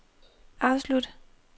afslut